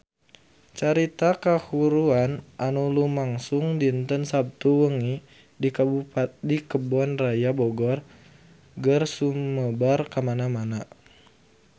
Carita kahuruan anu lumangsung dinten Saptu wengi di Kebun Raya Bogor geus sumebar kamana-mana